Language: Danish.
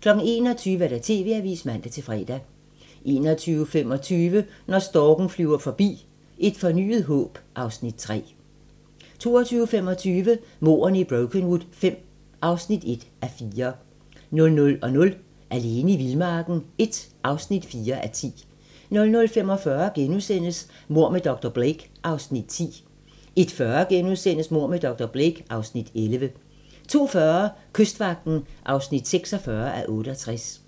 21:00: TV-avisen (man-fre) 21:25: Når storken flyver forbi - Et fornyet håb (Afs. 3) 22:25: Mordene i Brokenwood V (1:4) 00:00: Alene i vildmarken I (4:10) 00:45: Mord med dr. Blake (Afs. 10)* 01:40: Mord med dr. Blake (Afs. 11)* 02:40: Kystvagten (46:68)